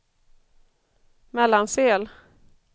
Mellansel